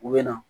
U bɛ na